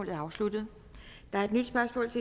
ved at give